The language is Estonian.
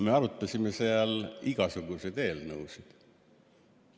Me arutasime seal igasuguseid eelnõusid.